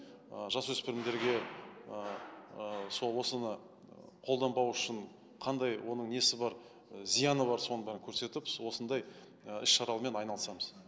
жасөспірімдерге ыыы сол осыны қолданбау үшін қандай оның несі бар зияны бар соның бәрін көрсетіп осындай іс шаралармен айналысамыз